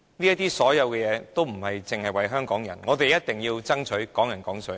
這些所有事，並非只為香港人，我們一定要爭取"港人港水"。